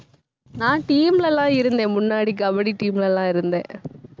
நான் team லலாம் இருந்தேன் முன்னாடி கபடி team லலாம் இருந்தேன்